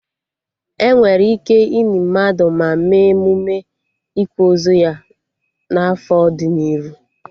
Enwere ike ini mmadụ, ma mee emụme ịkwa ozu ya na afọ dị n'iru